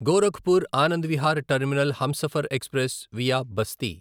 Gorakhpur Anand Vihar terminal Humsafar express via Basti